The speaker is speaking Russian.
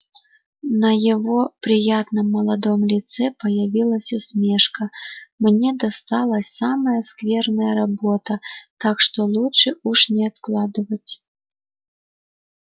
на его приятном молодом лице появилась усмешка мне досталась самая скверная работа так что лучше уж не откладывать